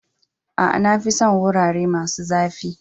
Aa, na fi son wurare masun zafi.